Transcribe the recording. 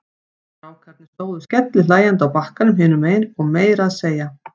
Strákarnir stóðu skellihlæjandi á bakkanum hinum megin og meira að segja